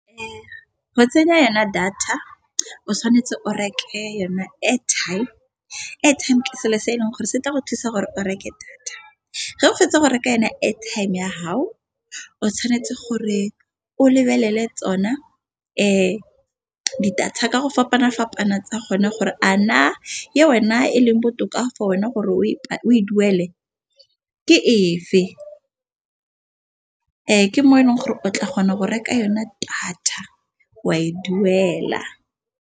Go tsenya yona data o tshwanetse o reke yona airtime. Airtime ke selo se e leng gore se tla go thusa gore o reke data ge o fetsa go reka yona airtime ya gao. Tshwanetse gore o lebelele tsona di data ka go fapana-fapana tsa kgone gore a na le wena e leng botoka go wena gore o e duele ke e fe. Ke mo e leng gore o tla kgona go reka yona data wa e duela.